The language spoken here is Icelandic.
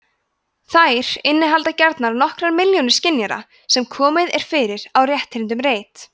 þær innihalda gjarnan nokkrar milljónir skynjara sem komið er fyrir á rétthyrndum reit